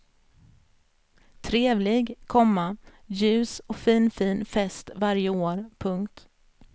Trevlig, komma ljus och finfin fest varje år. punkt